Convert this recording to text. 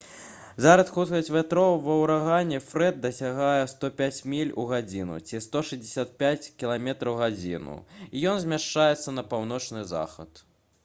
зараз хуткасць вятроў ва ўрагане «фрэд» дасягае 105 міль у гадзіну ці 165 км/г і ён змяшчаецца на паўночны захад